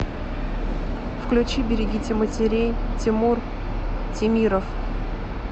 включи берегите матерей тимур темиров